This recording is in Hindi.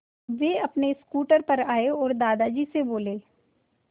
वे अपने स्कूटर पर आए और दादाजी से बोले